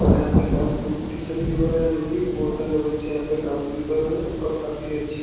और यहाँ पे डांस कम्पिटिशन भी हो रहा है जो कि बहुत सारे बच्चे यहां पे डांस भी कर रहे है और काफी अच्छी --